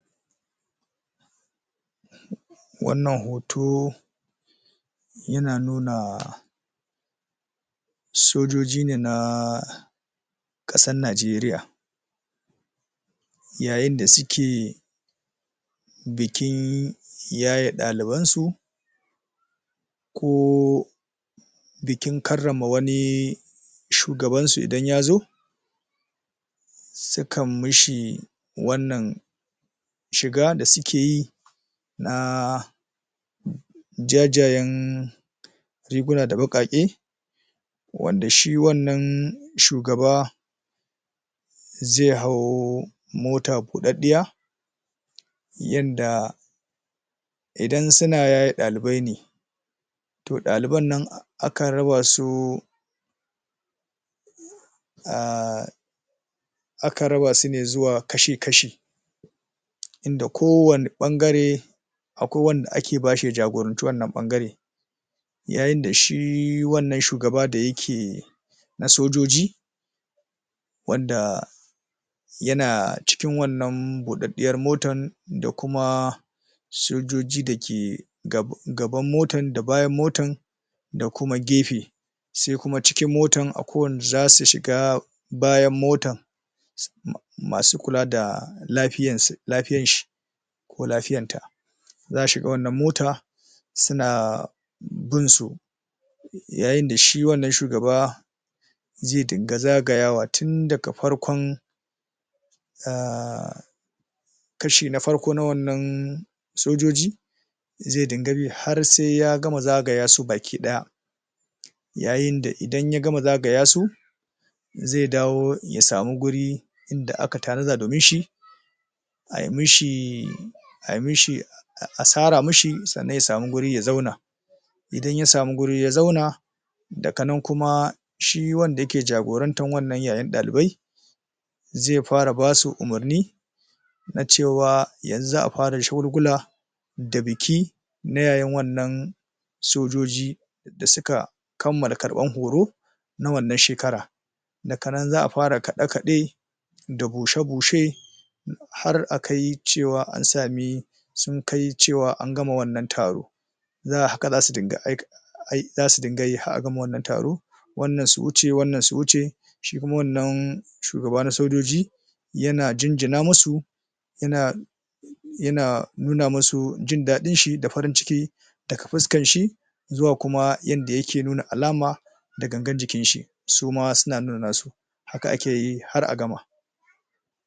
wannan hoto yana nuna sojoji ne na ƙasan najeriya yayin da suke bikin yaye ɗalibansu ko bikin karrama wani shugabansu idan yazo sukan mishi wannan shiga da sukeyi na jajayan riguna da baƙaƙi wanda shi wannan shugaba zai hau mota buɗaɗɗiya yanda indan suna yaye ɗalibai ne to ɗaliban nan akan rabasu a akan rabasu zuwa kashi kashi inda ko wanne ɓangare akwai wanda ake bashi ya jagoranci wannan ɓangaran yayin da shi wannan shugaba da yake na sojoji wanda yana cikin wannan buɗaɗɗiyar motar da kuma sojoji da ke gaban motan da bayan motan da kuma gefe sai kuam cikin motan akwai wanda zasu shiga bayan motan masu kula da lafiyanshi ko lafiyar ta za a shiga wannan mota suna binsu yayin dashi wannan shugaba zai dinga zagayawa tun daga farkon a kashi na farko na wannan sojoji zai dinga bi har sai ya gama zaga yasu baki ɗaya yayin da idan ya gama zagayasu zai dawo ya samu guri da aka tanada domin shi ai mishi a sara mishi sannan ya samu guri ya zauna idan ya samu guri ya zauna daga nan kuma shi wanda yake jagorantar wannan yayin dalibai zai fara basu umarni nacewa yanxu za a fara shagulgula da biki na yayan wannan sojoji da suka kammala karɓan horo na wannan shekara daga nan za a fara kiɗe kiɗe da bushe bushe har akai cewa ansami sun kai cewa angama wannan taro haka zasu dinga yi har a gama wannan taro wanna su wuce wannan su wuce shi kuma wannan shugaba na sojoji yana jinjina musu yana yana nuna musu jindaɗinshi da farin cikin daga fuskansa zuwa kuma yanda yake nuna alama da gangan jikinshi suma suna nuna nasu haka akeyi har a gama